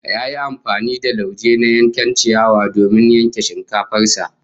Ya yi amfani da lauje na yankar ciyawa domin yanke shinkafar sa